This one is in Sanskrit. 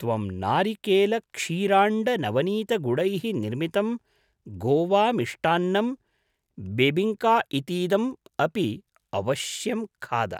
त्वं नारिकेलक्षीराण्डनवनीतगुडैः निर्मितं गोवामिष्टान्नं बेबिङ्का इतीदम् अपि अवश्यं खाद।